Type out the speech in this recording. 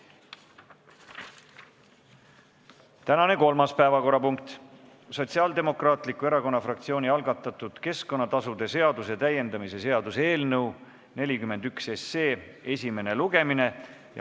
Tänane kolmas päevakorrapunkt on Sotsiaaldemokraatliku Erakonna fraktsiooni algatatud keskkonnatasude seaduse täiendamise seaduse eelnõu 41 esimene lugemine.